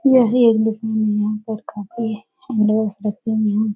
यह एक दुकान है। यहाँ पर काफी रखे हुए हैं।